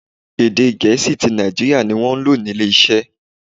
Èdè Gẹ̀ẹ́sì ti Naijiria ni wọ́n lò ní ilé iṣẹ́.